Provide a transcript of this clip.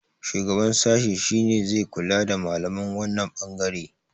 shugaban sashi shi ne zai kula da malaman wannan bangare